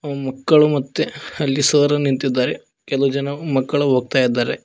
ಮಕ್ಕಳು ಮತ್ತೆ ಅಲ್ಲಿ ಸರ್ ನಿಂತಿದ್ದಾರೆ ಕೆಲವು ಜನ ಮಕ್ಕಳು ಹೋಗ್ತಾ ಇದ್ದಾರೆ.